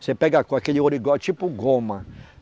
Você pega com aquele ouro igual, tipo goma.